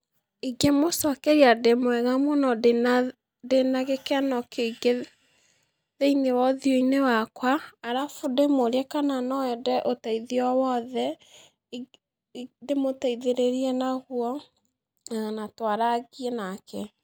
Ingĩmũcokeria ndĩmwĩre mũno ndĩna tha, ndĩna gĩkeno kĩingĩ thĩ-inĩ wa ũthiũ-inĩ wakwa, arabu ndĩmũrie kana noende ũteithio owothe, i ingĩ ndĩmũteithĩrĩrie naguo, ĩ na twarangie nake.